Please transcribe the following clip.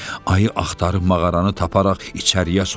Ayı axtarıb mağaranı taparaq içəriyə soxuldu.